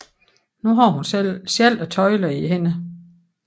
Nu havde hun selv tøjlerne i hænderne